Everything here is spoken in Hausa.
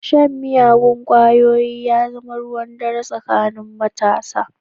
Shan miyagun ƙwayoyi ya zama ruwan dare tsakanin matasa.